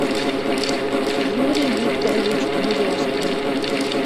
юрий викторович березкин